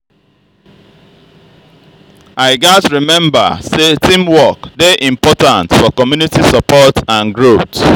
i gats remember say teamwork dey important important for community support and growth.